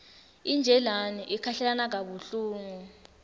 injilane ikhahlelana kabuhlungu